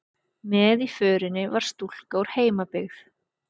Með í förinni var stúlka úr heimabyggð